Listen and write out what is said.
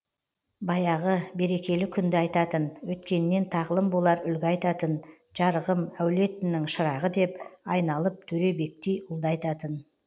баяғы берекелі күнді айтатын өткеннен тағлым болар үлгі айтатын жарығым әулетінің шырағы деп айналып төребектей ұлды айтатын